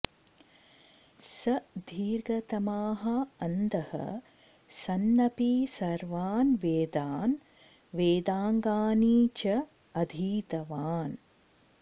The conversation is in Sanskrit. स दीर्घतमाः अन्धः सन्नपि सर्वान् वेदान् वेदाङ्गानि च अधीतवान्